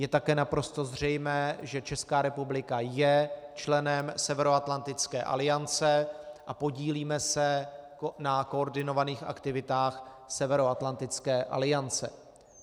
Je také naprosto zřejmé, že Česká republika je členem Severoatlantické aliance a podílíme se na koordinovaných aktivitách Severoatlantické aliance.